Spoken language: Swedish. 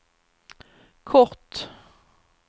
kort